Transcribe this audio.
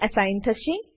assign થશે